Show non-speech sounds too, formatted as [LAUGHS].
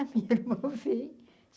A [LAUGHS] minha irmã veio.